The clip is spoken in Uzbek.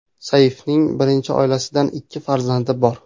Saifning birinchi oilasidan ikki farzandi bor.